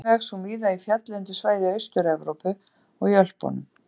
Einnig vex hún víða í fjalllendu svæði Austur-Evrópu og í Ölpunum.